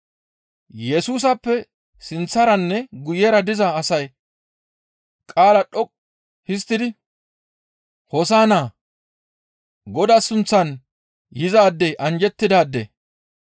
Yesusappe sinththaranne guyera diza asay qaala dhoqqu histtidi, «Hoosa7inna; Godaa sunththan yizaadey anjjettidaade.